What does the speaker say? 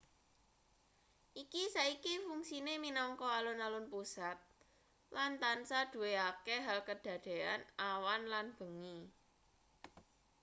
iki saiki fungsine minangka alun-alun pusat lan tansah duwe akeh hal kedadean awan lan bengi